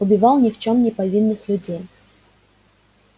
убивал ни в чем не повинных людей